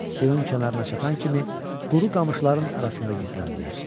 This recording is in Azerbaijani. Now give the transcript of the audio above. Suyun kənarına çatan kimi quru qamışların arasında gizləndilər.